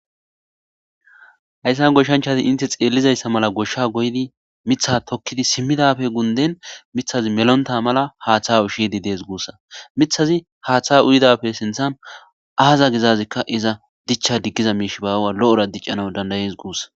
hayssan goshshanchati inte xeellizayssa mala goshsha goydi mitha tokkidi simmidafe gunden mithazi melonta mala haatha u ushidi dees guussa mithazi haaththa uyidafe sinthan aaza gizazikka iza dichcha diggiza miish baawa lo7ora diccana dandayees guussa